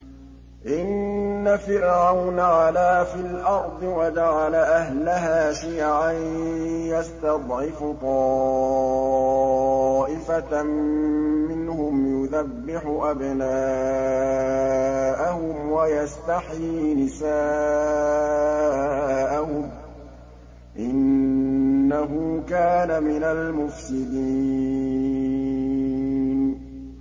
إِنَّ فِرْعَوْنَ عَلَا فِي الْأَرْضِ وَجَعَلَ أَهْلَهَا شِيَعًا يَسْتَضْعِفُ طَائِفَةً مِّنْهُمْ يُذَبِّحُ أَبْنَاءَهُمْ وَيَسْتَحْيِي نِسَاءَهُمْ ۚ إِنَّهُ كَانَ مِنَ الْمُفْسِدِينَ